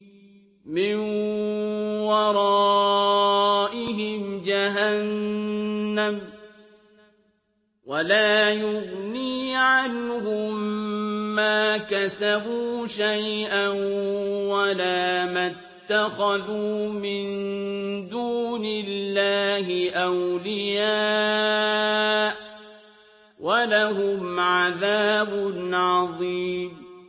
مِّن وَرَائِهِمْ جَهَنَّمُ ۖ وَلَا يُغْنِي عَنْهُم مَّا كَسَبُوا شَيْئًا وَلَا مَا اتَّخَذُوا مِن دُونِ اللَّهِ أَوْلِيَاءَ ۖ وَلَهُمْ عَذَابٌ عَظِيمٌ